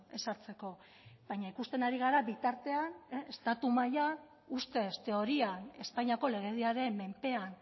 ez hartzeko baina ikusten ari gara bitartean estatu mailan ustez teorian espainiako legediaren menpean